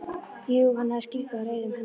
Jú, hann hafði skýringu á reiðum höndum.